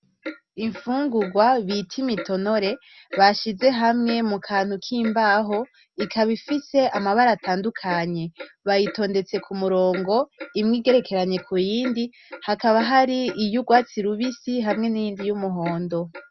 Ifungugwa bita imitonore bashize hamwe mu kantu kimbaho ikaba ifise amabara atandukanye, bayitondetse k'umurongo imwe igerekeranye kuyindi, hakaba hari iy'urwatsi rubisi hamwe n'iyindi y'umuhondo.